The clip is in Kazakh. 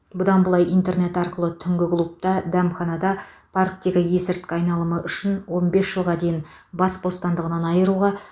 бұдан былай интернет арқылы түнгі клубта дәмханада парктегі есірткі айналымы үшін он бес жылға дейін бас бостандығынан айыруға